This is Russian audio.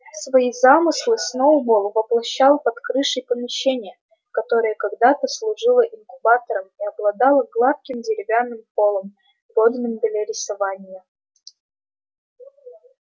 свои замыслы сноуболл воплощал под крышей помещения которое когда-то служило инкубатором и обладало гладким деревянным полом годным для рисования